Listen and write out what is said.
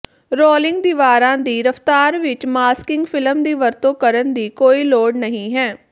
rolling ਦੀਵਾਰਾਂ ਦੀ ਰਫਤਾਰ ਵਿਚ ਮਾਸਕਿੰਗ ਫਿਲਮ ਦੀ ਵਰਤੋਂ ਕਰਨ ਦੀ ਕੋਈ ਲੋੜ ਨਹੀਂ ਹੈ